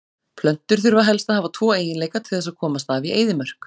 Plöntur þurfa helst að hafa tvo eiginleika til þess að komast af í eyðimörk.